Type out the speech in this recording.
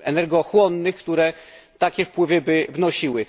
energochłonnych, które takie wpływy by wnosiły.